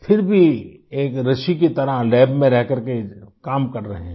फिर भी एक ऋषि की तरह लैब में रह करके काम कर रहे हैं